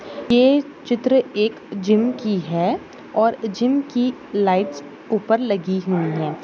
ये चित्र एक जिम की है और जिम की लाईट्स उपर लगी हुई है।